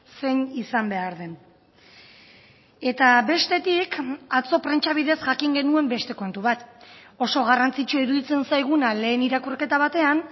zein izan behar den eta bestetik atzo prentsa bidez jakin genuen beste kontu bat oso garrantzitsua iruditzen zaiguna lehen irakurketa batean